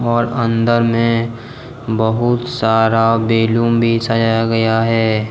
और अंदर में बहुत सारा बैलूम भी सजाया गया है।